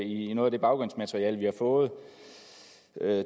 i noget af det baggrundsmateriale vi har fået